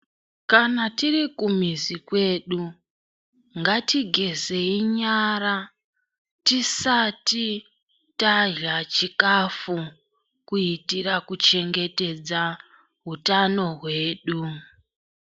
Kana tiri kumizi kwedu ngatigezei nyara tisati tarya chikafu kuitira kuchengetedza utano hwedu .